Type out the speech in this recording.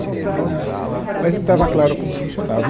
Tinha esse nome, mas não estava claro como funcionava. E